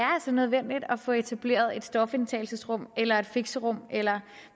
er nødvendigt at få etableret et stofindtagelsesrum eller et fixerum eller